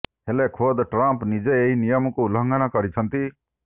ହେଲେ ଖୋଦ ଟ୍ରମ୍ପ ନିଜେ ଏହି ନିୟମକୁ ଉଲ୍ଲଙ୍ଘନ କରିଛନ୍ତି